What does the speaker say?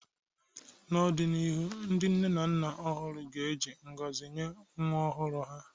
N’ọdịnihu, ndị nne na nna ọhụrụ ga-eji ngọzi nye nwa ọhụrụ ha